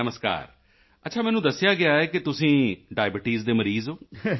ਨਮਸਕਾਰ ਅੱਛਾ ਮੈਨੂੰ ਦੱਸਿਆ ਗਿਆ ਹੈ ਕਿ ਤੁਸੀਂ ਡਾਇਬਟੀਸ ਦੇ ਮਰੀਜ਼ ਹੋ